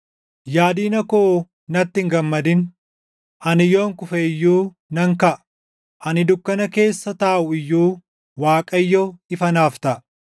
Yaa diina koo natti hin gammadin! Ani yoon kufe iyyuu nan kaʼa. Ani dukkana keessa taaʼu iyyuu Waaqayyo ifa naaf taʼa.